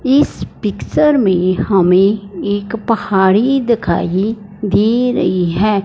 इस पिक्चर में हमें एक पहाड़ी दिखाइ दे रही है।